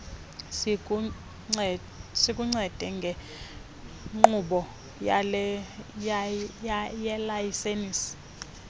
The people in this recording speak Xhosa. sikuncede ngenkqubo yelayisensi